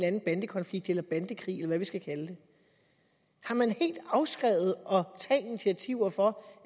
anden bandekonflikt eller bandekrig eller hvad vi skal kalde det har man helt afskrevet at tage initiativer for